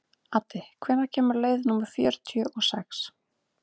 Addi, hvenær kemur leið númer fjörutíu og sex?